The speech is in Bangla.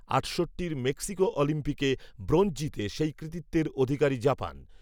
আটষট্টির মেক্সিকো অলিম্পিকে ব্রোঞ্জ জিতে, সেই কৃতিত্বের অধিকারী জাপান